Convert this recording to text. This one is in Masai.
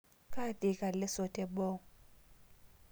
Katiika leso teboo